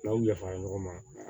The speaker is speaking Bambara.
N'aw ya fara ɲɔgɔn ma